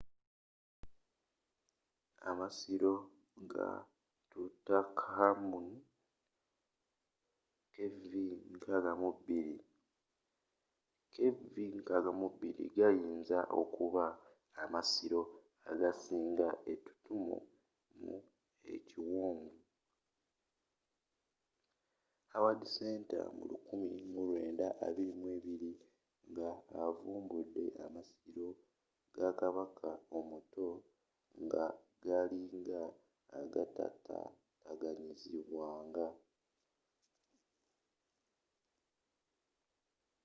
amasiro ga tutankhamun kv62. kv62 gayinza okuba amasiro agasinga etutumu mu ekiwonvu howard carter mu 1922 nga avumbudde amasiro ga kabaka omuto nga galinga agatataataaganyizibwanga